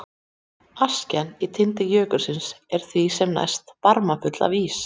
Askjan í tindi jökulsins er því sem næst barmafull af ís.